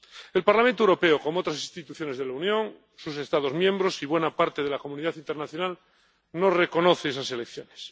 El Parlamento Europeo, como otras instituciones de la Unión, sus Estados miembros y buena parte de la comunidad internacional, no reconoce esas elecciones.